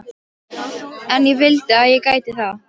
En ég vildi að ég gæti það.